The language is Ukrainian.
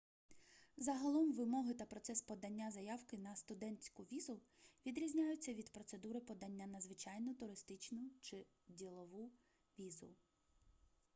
загалом вимоги та процес подання заявки на студентську візу відрізняються від процедури подання на звичайну туристичну чи ділову візу